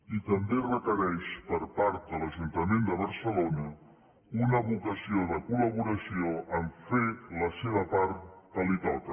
i també requereix per part de l’ajuntament de barcelona una vocació de col·laboració en fer la seva part que li toca